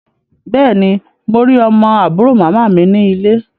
Bẹ́ẹ̀ ni, mo rí ọmọ àbúrò màmá mi ní ilé.